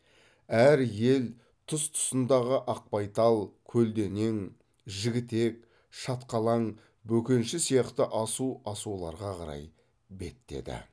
әр ел тұс тұсындағы ақбайтал көлденең жігітек шатқалаң бөкенші сияқты асу асуларға қарай беттеді